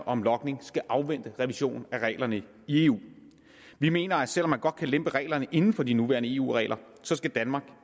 om logning skal afvente en revision af reglerne i eu vi mener at selv om man godt kan lempe reglerne inden for de nuværende eu regler så skal danmark